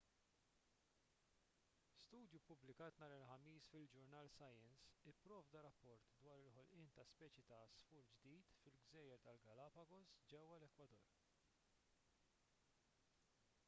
studju ppubblikat nhar il-ħamis fil-ġurnal science ipprovda rapport dwar il-ħolqien ta' speċi ta' għasfur ġdid fil-gżejjer tal-galapagos ġewwa l-ekwador